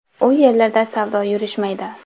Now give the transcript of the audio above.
U yerlarda savdo yurishmaydi.